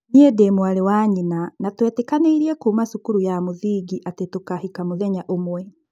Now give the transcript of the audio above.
Niĩ ndĩ-mwarĩ wa nyina na tũetĩkanĩirie kuuma cukuru ya mũthingi atĩ tũkahika mũthenya ũmwe.